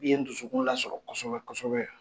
I ye n dusukun lasɔrɔ kosɛbɛ kosɛbɛ.